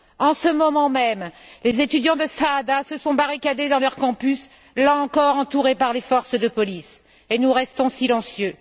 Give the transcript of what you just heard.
En ce moment même, les étudiants de Saada se sont barricadés dans leur campus, là encore entourés par les forces de police, et nous restons silencieux.